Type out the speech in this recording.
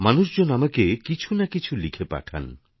মানুষজন আমাকে কিছুনাকিছু লিখে পাঠান